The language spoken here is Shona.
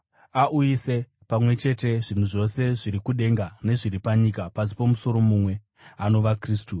auyise pamwe chete zvinhu zvose zviri kudenga nezviri panyika pasi pomusoro mumwe, anova Kristu.